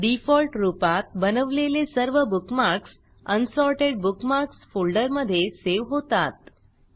default रूपात बनवलेले सर्व बुकमार्क्स अनसॉर्टेड बुकमार्क्स फोल्डरमधे सेव्ह होतात